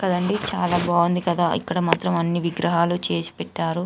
క దండీ చాలా బంగుంది కదా ఇక్కడ మాత్రం అన్ని విగ్రహాలు చేసి పెట్టారు.